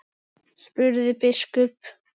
spurði biskup.